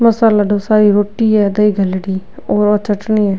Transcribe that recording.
मसाला डोसा ई रोटी है दही दलेड़ी और चटनी है।